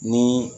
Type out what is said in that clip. Ni